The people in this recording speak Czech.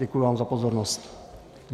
Děkuji vám za pozornost.